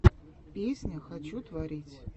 песня хочу творить